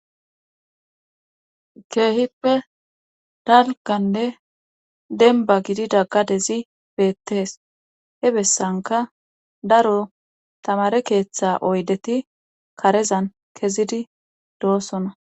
keehippe dalganne denba gididaggadezi beettees he bessanka daro tamare keeththa oydeti karezan kezidi doosona